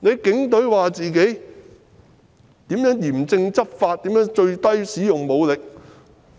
警隊說自己如何嚴正執法，使用最低武力。